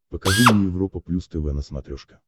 покажи мне европа плюс тв на смотрешке